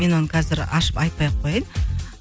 мен оны қазір ашып айтпай ақ қояйын